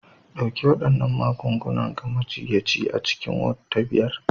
Ɗauki waɗannan magungunan ga majiyyaci a cikin Ward ta biyar